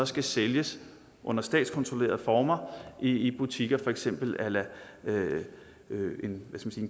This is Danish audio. skal sælges under statskontrollerede former i butikker for eksempel a la en